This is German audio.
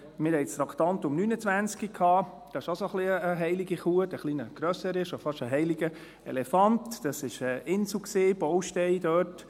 Wir hatten das Traktandum 29 – dies ist auch eine Art heilige Kuh, eine etwas grössere, schon fast ein heiliger Elefant –, wobei es um die Insel ging, um einen Baustein dort.